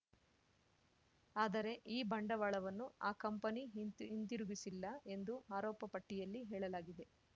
ಆದರೆ ಈ ಬಂಡವಾಳವನ್ನು ಆ ಕಂಪನಿ ಹಿಂತಿ ಹಿಂತಿರುಗಿಸಿಲ್ಲ ಎಂದು ಆರೋಪಪಟ್ಟಿಯಲ್ಲಿ ಹೇಳಲಾಗಿದೆ